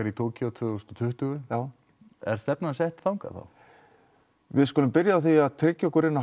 í Tókýó tvö þúsund og tuttugu er stefnan þangað við skulum byrja á því að tryggja okkur inn á